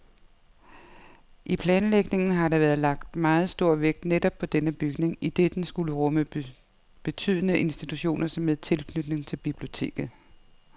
I planlægningen har der været lagt meget stor vægt netop på denne bygning, idet den skulle rumme betydende institutioner med tilknytning til biblioteket.